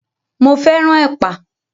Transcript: Mo fẹ́ràn ẹ̀pà.